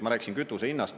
Ma rääkisin kütuse hinnast.